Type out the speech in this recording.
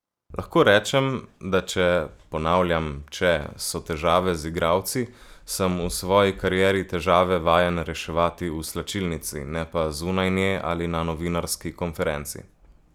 Lahko rečem, da če, ponavljam, če, so težave z igralci, sem v svoji karieri težave vajen reševati v slačilnici, ne pa zunaj nje ali na novinarski konferenci.